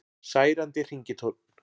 Særandi hringitónn